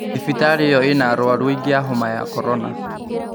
Thibitarĩ ĩyo lna arwaru aingĩ a homa ya korona